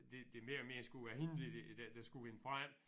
Det det mere og mere skulle være hindi der der skulle vinde frem